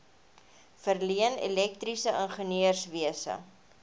verleen elektriese ingenieurswese